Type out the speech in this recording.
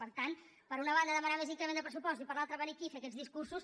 per tant per una banda demanar més increment de pressupost i per l’altra venir aquí a fer aquests discursos